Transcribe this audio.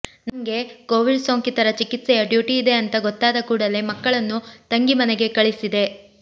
ನಂಗೆ ಕೋವಿಡ್ ಸೋಂಕಿತ ರ ಚಿಕಿತ್ಸೆಯ ಡ್ಯೂಟಿ ಇದೆ ಅಂತ ಗೊತ್ತಾದ ಕೂಡಲೆ ಮಕ್ಕಳನ್ನು ತಂಗಿ ಮನೆಗೆ ಕಳಿಸಿದೆ